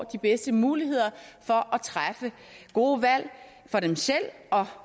de bedste muligheder for at træffe gode valg for dem selv og